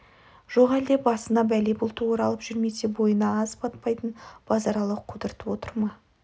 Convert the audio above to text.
жоқ әлде басына бәле бұлты оралып жүрмесе бойына ас батпайтын базаралы құтыртып отыр ма